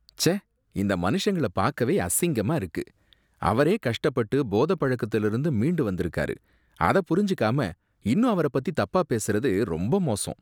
ச்ச! இந்த மனுஷங்கள பாக்கவே அசிங்கமா இருக்கு. அவரே கஷ்டப்பட்டு போத பழக்கத்துல இருந்து மீண்டு வந்துருக்காரு. அத புரிஞ்சுக்காம இன்னும் அவரைப் பத்தி தப்பா பேசுறது ரொம்ப மோசம்.